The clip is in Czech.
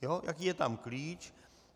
Jaký je tam klíč.